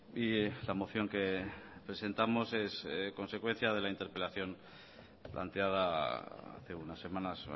y la moción que presentamos es consecuencia de la interpelación planteada hace unas semanas